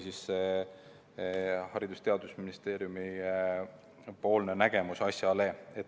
See oli Haridus- ja Teadusministeeriumi nägemus asjast.